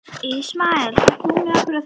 Ismael, ferð þú með okkur á þriðjudaginn?